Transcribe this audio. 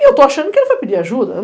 E eu estou achando que ele foi pedir ajuda.